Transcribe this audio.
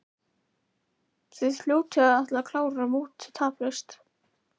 Þið hljótið að ætla að klára mótið taplaust?